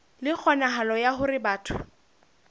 le kgonahalo ya hore batho